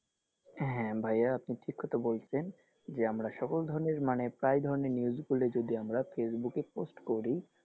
হ্যাঁ ভাইয়া আপনি ঠিক কথা বলছেন যে আমরা সকল ধরনের মানে প্রায় ধরনের news গুলি যদি আমরা facebook এ post করি,